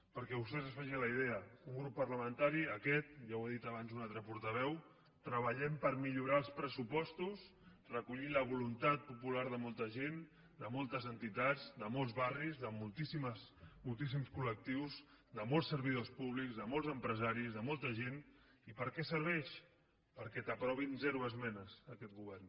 perquè vostès se’n facin la idea un grup parlamentari aquest ja ho ha dit abans un altre portaveu treballem per millorar els pressupostos recollint la voluntat popular de molta gent de moltes entitats de molts barris de moltíssims col·lectius de molts servidors públics de molts empresaris de molta gent i per a què serveix perquè t’aprovi zero esmenes aquest govern